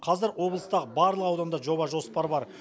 қазір облыстағы барлық ауданда жоба жоспар бар